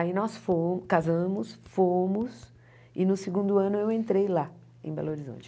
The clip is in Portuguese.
Aí nós fo casamos, fomos e no segundo ano eu entrei lá em Belo Horizonte.